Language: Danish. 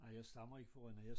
Nej jeg stammer ikke fra Rønne